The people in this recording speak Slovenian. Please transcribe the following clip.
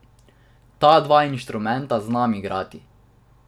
Ta dva inštrumenta znam igrati.